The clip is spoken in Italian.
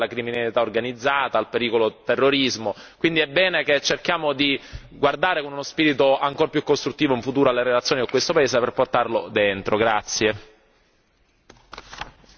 Sappiamo tutti che ci sono dei problemi legati alla criminalità organizzata e al pericolo del terrorismo quindi è bene che cerchiamo di guardare con uno spirito ancora più costruttivo in futuro alle relazioni con questo paese per portarlo nell'Unione.